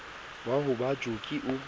wa ho ba joki o